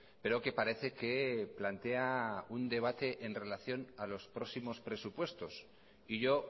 pero que parece que plantea un debate en relación a los próximos presupuestos y yo